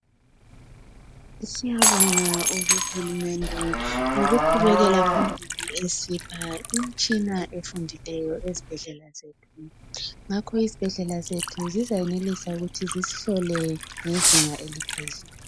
siyabonga uhulunde qubekela phambili esipha imitshina abafundileyo ezibhedlela zethu ngakho isibhedlela zethu ziza yenelisa ukuthi zisihlole